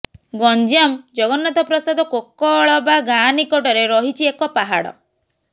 ଗଞ୍ଜାମ ଜଗନ୍ନାଥପ୍ରସାଦ କୋକଳବା ଗାଁ ନିକଟରେ ରହିଛି ଏକ ପାହାଡ଼